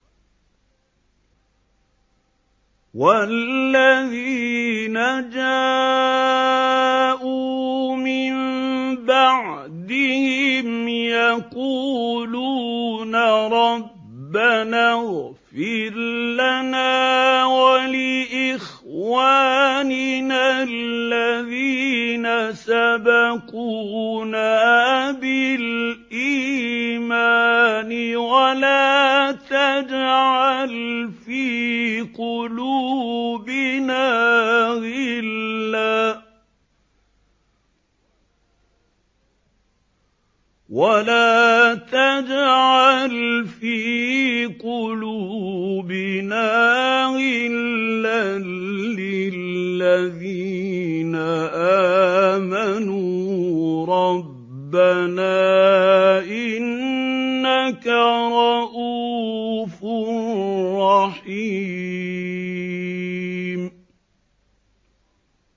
وَالَّذِينَ جَاءُوا مِن بَعْدِهِمْ يَقُولُونَ رَبَّنَا اغْفِرْ لَنَا وَلِإِخْوَانِنَا الَّذِينَ سَبَقُونَا بِالْإِيمَانِ وَلَا تَجْعَلْ فِي قُلُوبِنَا غِلًّا لِّلَّذِينَ آمَنُوا رَبَّنَا إِنَّكَ رَءُوفٌ رَّحِيمٌ